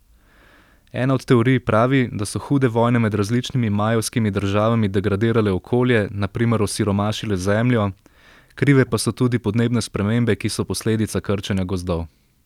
Ena od teorij pravi, da so hude vojne med različnimi majevskimi državami degradirale okolje, na primer osiromašile zemljo, krive pa so tudi podnebne spremembe, ki so posledica krčenja gozdov.